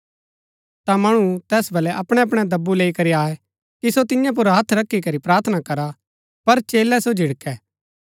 ता मणु तैस बलै अपणै अपणै दब्बु लैई करी आये कि सो तियां पुर हत्थ रखी करी प्रार्थना करा पर चेलै सो झिड़कै